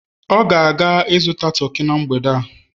ọ ga-azụta toki na mgbede a